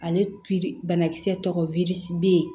Ale banakisɛ tɔgɔ